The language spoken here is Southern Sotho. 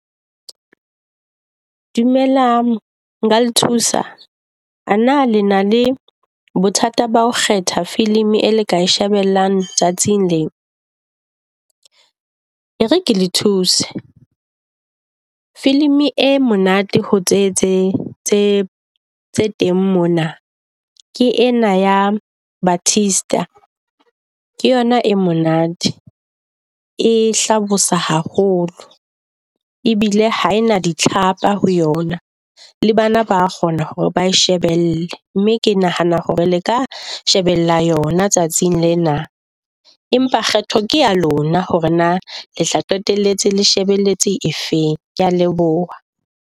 Dumela nka thusa a na le na le bothata ba ho kgetha filimi e le ka shebellang tsatsing lena. E re ke le thuse, filimi e monate ho tse tse tse teng mona ke ena ya Baptist. Ke yona e monate. E hlabosa haholo ebile ha ena di tlhapa ho yona. Le bana ba kgona hore ba shebelle, mme ke nahana hore le ka shebella yona tsatsing lena. Empa kgetho ke ya lona hore na le tla qetelletse le shebelletse e feng. Kea leboha.